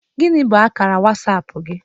Gini bụ akara WasAp gi?